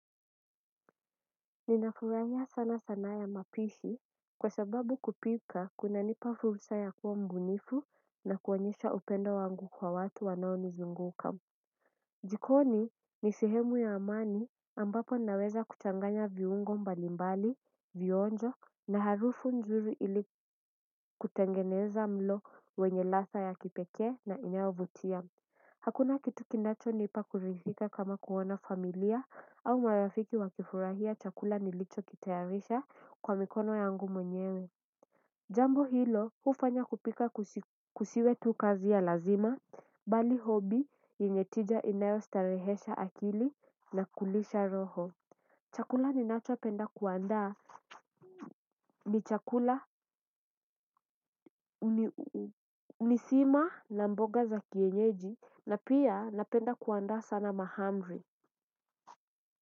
Ninafurahia sana sanaa ya mapishi kwa sababu kupika kuna nipa fursa ya kua mbunifu na kuonyesha upendo wangu kwa watu wanao nizunguka jikoni ni sehemu ya amani ambapo naweza kuchanganya viungo mbalimbali, vionjo na harufu nzuri ili kutengeneza mlo wenye ladha ya kipekee na inayovutia hakuna kitu kinacho nipa kuridhika kama kuona familia au marafiki wakifurahia chakula nilicho kitayarisha kwa mikono yangu mwenyewe. Jambo hilo hufanya kupika kusiwe tu kazi ya lazima, bali hobi yenye tija inayo starehesha akili na kulisha roho. Chakula ninachopenda kuandaa ni chakula uni sima na mboga za kienyeji na pia napenda kuandaa sana mahamri.